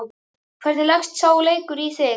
Hvernig leggst sá leikur í þig?